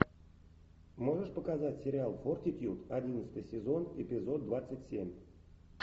можешь показать сериал фортитьюд одиннадцатый сезон эпизод двадцать семь